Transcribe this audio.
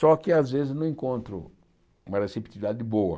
Só que, às vezes, não encontro uma receptividade boa.